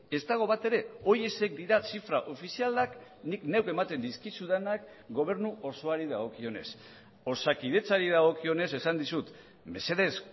ez dago batere horiexek dira zifra ofizialak nik neuk ematen dizkizudanak gobernu osoari dagokionez osakidetzari dagokionez esan dizut mesedez